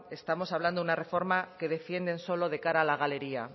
estamos hablando de una reforma que defienden solo de cara a la galería